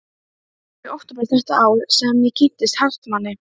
Það var í október þetta ár sem ég kynntist Hartmanni.